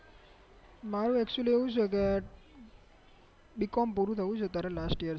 મારે actually એવું છે કે બીકોમ પૂરું થયું છે અતારે last year